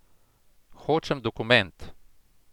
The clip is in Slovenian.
Hočem dokument.